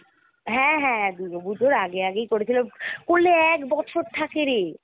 হ্যাঁ হ্যাঁ দূর্গা পূজার আগে আগেই করেছিলাম করলে এক বছর থাকে রে!